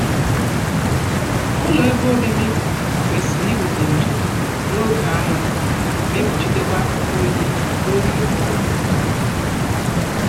Ụlọ ebe obibi kwesịrị iweta ndo n'oge anwụ mae kpuchitekwa oyi n'oge ụgụrụ